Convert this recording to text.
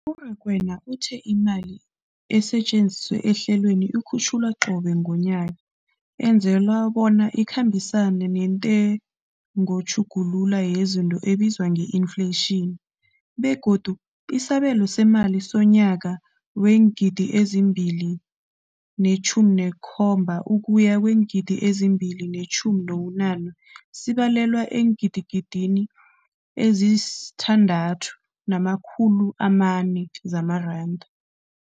U-Rakwena uthe imali esetjenziswa ehlelweneli ikhutjhulwa qobe ngomnyaka ukwenzela bona ikhambisane nentengotjhuguluko yezinto ebizwa nge-infleyitjhini, begodu isabelo seemali somnyaka weengidi ezi-2 ne-17 ukuya keweengidi ezi-2 ne-18 sibalelwa eengidigidini ezisi-6 nama-400 zamaranda.